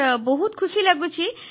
sir ବହୁତ ଖୁସି ଲାଗୁଛି